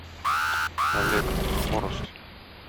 олег хворост